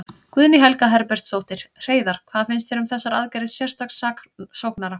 Guðný Helga Herbertsdóttir: Hreiðar, hvað finnst þér um þessar aðgerðir sérstaks saksóknara?